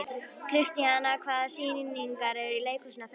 Kristíanna, hvaða sýningar eru í leikhúsinu á föstudaginn?